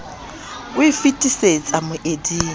e e fitisetsa moemeding wa